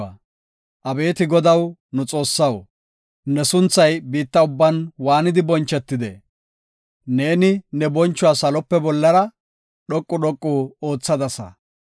Abeeti Godaw nu Xoossaw, ne sunthay biitta ubban waanidi bonchetide! Neeni ne bonchuwa salope bollara dhoqu dhoqu oothadasa.